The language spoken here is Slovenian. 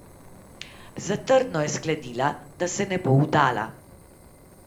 Zatrdno je sklenila, da se ne bo vdala.